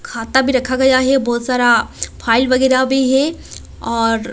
खाता भी रखा गया है बहुत सारा फाइल वगैरह भी है और--